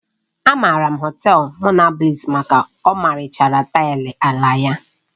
A maara Họtelu Monabliss maka ọmarịcha taịlị ala ya